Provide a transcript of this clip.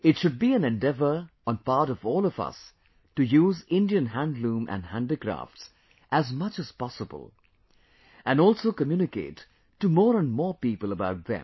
It should be an endeavour on part of all of us to use Indian Handloom and Handicrafts as much as possible, and also communicate to more and more people about them